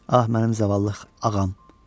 Ah, mənim zavallı ağam.